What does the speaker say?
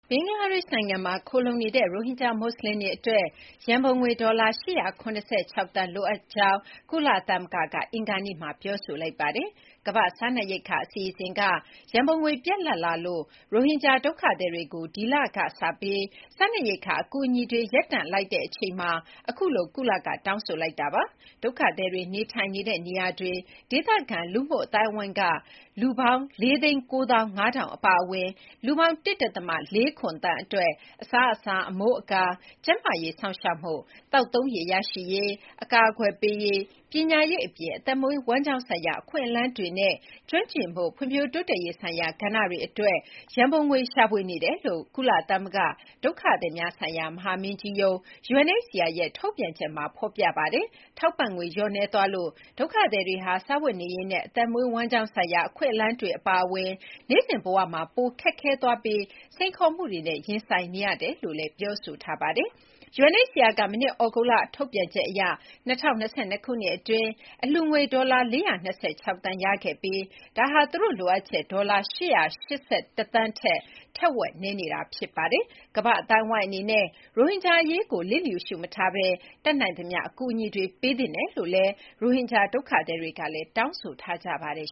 ဘင်္ဂလားဒေ့ရှ် နိုင်ငံမှာခိုလှုံနေတဲ့ ရိုဟင်ဂျာ မွတ်ဆလင်တွေအတွက် ရန်ပုံငွေ ဒေါ်လာ ၈၇၆ သန်း လိုအပ်နေတယ်လို့ ကုလသမဂ္ဂက အင်္ဂါနေ့မှာ တောင်းဆိုလိုက်ပါတယ်။ ကမ္ဘာ့စားနပ်ရိက္ခာအစီအစဉ်က ရန်ပုံငွေပြတ်လပ်လာလို့ ရိုဟင်ဂျာဒုက္ခသည်တွေကို ဒီလကနေစပြီး စားနပ်ရိက္ခာအကူအညီတွေ ရပ်တန့်လိုက်တဲ့ အချိန်မှာ ကုလက အခုလို တောင်းဆိုလိုက်တာပါ။ ဒုက္ခသည်တွေနေထိုင်နေတဲ့နေရာတွေက ဒေသခံလူ့အသိုင်းအဝန်းက လူ ၄၉၅,၀၀၀ အပါအဝင် လူပေါင်း ၁.၄၇ သန်းအတွက် အစားအစာ၊ အမိုးအကာ၊ ကျန်းမာရေးစောင့်ရှောက်မှု၊ သောက်သုံးရေရရှိရေး၊ အကာအကွယ်ပေးရေး၊ ပညာရေးအပြင် အသက်မွေးဝမ်းကျောင်းဆိုင်ရာ အခွင့်အလမ်းတွေနဲ့ ကျွမ်းကျင်မှု ဖွံ့ဖြိုးတိုးတက်ရေးဆိုင်ရာကဏ္ဍတွေအတွက် ရန်ပုံငွေရှာဖွေနေတယ်လို့ ကုလသမဂ္ဂဒုက္ခသည်များဆိုင်ရာ မဟာမင်းကြီးရုံး (UNHCR) ရဲ့ ထုတ်ပြန်ချက်မှာ ဖော်ပြထားပါတယ်။ ထောက်ပံ့ငွေလျော့နည်းသွားလို့ ဒုက္ခသည်တွေဟာ စားဝတ်နေရေးနဲ့ အသက်မွေးဝမ်းကြောင်းဆိုင်ရာ အခွင့်အလမ်းတွေအပါအဝင် နေ့စဉ်ဘဝမှာ ပိုခက်ခဲသွားပြီး စိန်ခေါ်မှုတွေနဲ့ ရင်ဆိုင်နေရတယ်လို့ ဆိုပါတယ်။ UNHCR က မနှစ် သြဂုတ်လမှာ ထုတ်ပြန်ချက်အရ ၂၀၂၂ ခုနှစ်အတွင်း အလှူငွေဒေါ်လာ ၄၂၆ သန်းရရှိခဲ့ပြီး ဒါဟာ သူတို့လိုအပ်ချက် ဒေါ်လာ ၈၈၁ သန်းထက် ထက်ဝက်နည်းနေပါတယ်။ ကမ္ဘာ့အသိုင်းအဝိုင်းအနေနဲ့ ရိုဟင်ဂျာအရေးကို လျစ်လျူရှု မထားဘဲ တတ်နိုင်သမျှ အကူအညီတွေ ပေးသင့်တယ်လို့ ရိုဟင်ဂျာဒုက္ခသည်တွေကလည်း တောင်းဆိုထားကြပါတယ်